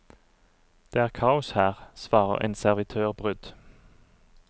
Det er kaos her, svarer en servitør brydd.